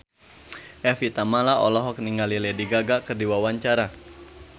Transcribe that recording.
Evie Tamala olohok ningali Lady Gaga keur diwawancara